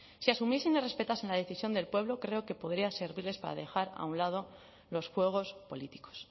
si asumiesen y respetasen la decisión del pueblo creo que podría servirles para dejar a un lado los juegos políticos